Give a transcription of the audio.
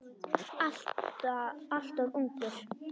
Alltof ungur.